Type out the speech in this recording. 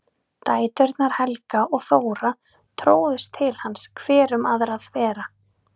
Dæturnar Helga og Þóra tróðust til hans hver um aðra þvera.